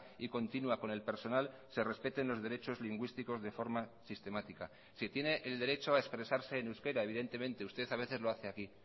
y continua con el personal se respeten los derechos lingüísticos de forma sistemática sí tiene el derecho a expresarse en euskera evidentemente usted a veces lo hace aquí